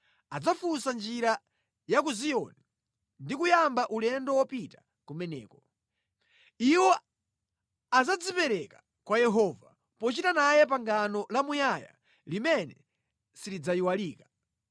Adzafunsa njira ya ku Ziyoni ndi kuyamba ulendo wopita kumeneko. Iwo adzadzipereka kwa Yehova pochita naye pangano lamuyaya limene silidzayiwalika.